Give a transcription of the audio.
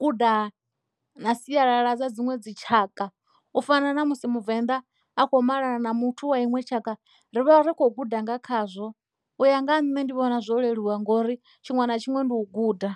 guda na sialala dza dziṅwe dzi tshaka u fana na musi muvenḓa a kho malana na muthu wa iṅwe tshaka ri vha ri khou guda nga khazwo u ya nga ha nṋe ndi vhona zwo leluwa ngori tshiṅwe na tshiṅwe ndi u guda.